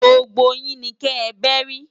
Gbógbó yin ni kè bèri